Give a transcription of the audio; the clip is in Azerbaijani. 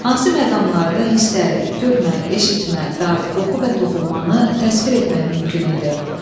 Hansı məqamlarda hissləri, görmə, eşitmə, dad, qoxu və toxunmanı təsvir etmək mümkün idi?